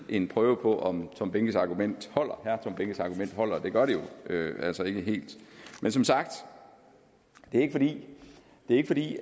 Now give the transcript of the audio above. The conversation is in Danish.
en prøve på om herre tom behnkes argument holder holder og det gør det jo altså ikke helt men som sagt er det ikke fordi